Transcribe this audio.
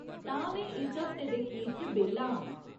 तां में इस हफ्ते दे खीर च बेह्ल्ला आं।